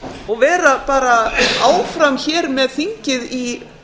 og vera bara áfram hér með þingið í